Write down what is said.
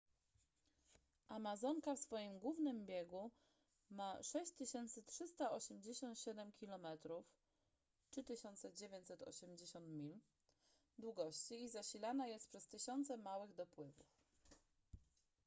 amazonka w swoim głównym biegu ma 6387 km 3980 mil długości i zasilana jest przez tysiące małych dopływów